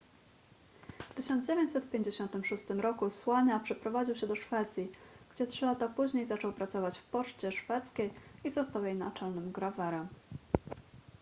w 1956 r słania przeprowadził się do szwecji gdzie trzy lata później zaczął pracować w poczcie szwedzkiej i został jej naczelnym grawerem